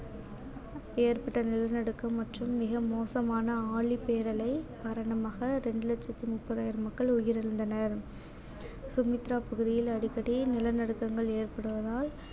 ஏற்பட்ட நிலநடுக்கம் மற்றும் மிக மோசமான ஆழி பேரலை மரணமாக ரெண்டு லட்சத்தி முப்பதாயிரம் மக்கள் உயிரிழந்தனர் சுமத்ரா பகுதியில் அடிக்கடி நிலநடுக்கங்கள் ஏற்படுவதால்